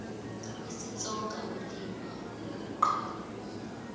isitsonga ulimi lokuqala